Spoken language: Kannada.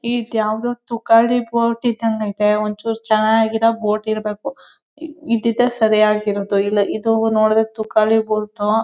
ಈದ್ ಯಾವ್ದೋ ತುಕಾಡಿ ಬೋಟ್ ಇದ್ದಂಗ ಐತೆ. ಒಂಚೂರ್ ಚನಗಿರೋ ಬೋಟ್ ಇರ್ಬೇಕು. ಇದ್ದಿದ್ದೇ ಸರಿಯಾಗಿರದು ಇಲ್ಲ. ಇದು ನೋಡ್ರುದ್ರೆ ತುಖಾಲಿ ಬೋಟ್ ಉ--